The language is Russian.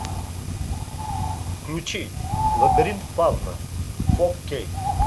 включи лабиринт фавна фо кей